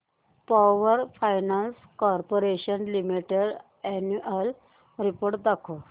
power finance corporation limited annual report दाखव